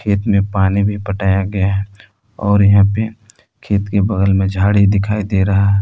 खेत में पानी भी पटाया गया है और यहां पे खेत के बगल में झाड़ी दिखाई दे रहा है।